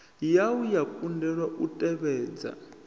wua ya kundelwa u tevhedza